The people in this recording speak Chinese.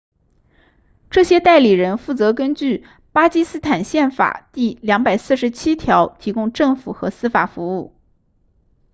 这些代理人负责根据巴基斯坦宪法第247条提供政府和司法服务